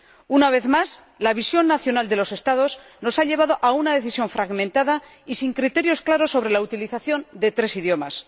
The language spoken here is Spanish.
Una vez más, la visión nacional de los Estados nos ha llevado a una decisión fragmentada y sin criterios claros sobre la utilización de tres idiomas.